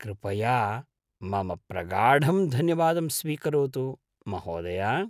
कृपया मम प्रगाढं धन्यवादं स्वीकरोतु, महोदया!